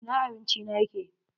Ina abinci na yake!